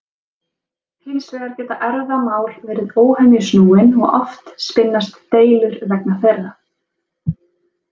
Hins vegar geta erfðamál verið óhemju snúin og oft spinnast deilur vegna þeirra.